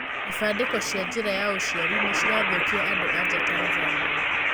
Ibandĩko cia njĩra ya ũciarĩ nĩcirathũkia andũanja Tanzania.